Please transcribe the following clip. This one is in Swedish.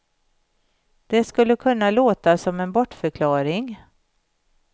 Det skulle kunna låta som en bortförklaring.